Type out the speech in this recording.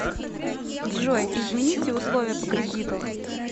джой измените условия по кредиту